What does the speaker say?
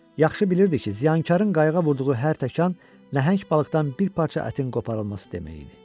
Yaxşı bilirdi ki, ziyankarın qayığa vurduğu hər təkan nəhəng balıqdan bir parça ətin qoparılması demək idi.